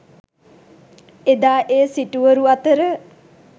එදා ඒ සිටුවරු අතර